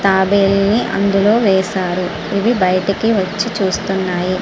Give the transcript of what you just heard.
తాబేళ్లు ని అందులో వేశారు ఇవి బయటికి వచ్చి చుస్తునాయి.